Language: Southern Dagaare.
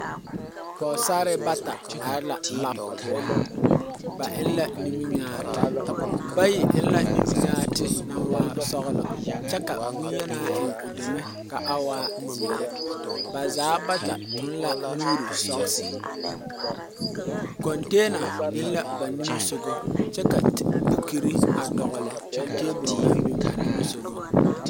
pɔgesarre bata are la lab poɔ, ba eŋ la niminyaati bayi eŋ la niminyaati naŋ waa sɔglɔ ka bonyenaa eŋ o denne kaa waa zeɛree, ba zaa bata eŋ la nuuri wɔɔre kontenna biŋ la ba nimitɔreŋ kyɛ ka gama a dɔgeli a tabol zʋŋ ba nimitɔreŋ .